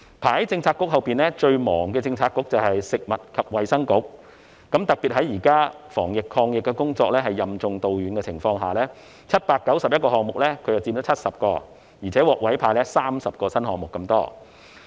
排在發展局之後，最繁忙的政策局是食物及衞生局，特別在現時防疫抗疫工作任重道遠的情況下，食物及衞生局在791個項目中佔了70個，而且還獲委派30個新項目。